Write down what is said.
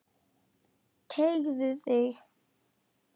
Teygðu þig.